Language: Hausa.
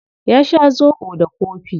Ya sha zobo da kofi.